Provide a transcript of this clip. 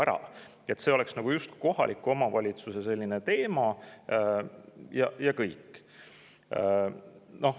Ei peaks olema nii, et see on justkui kohaliku omavalitsuse teema ja kõik.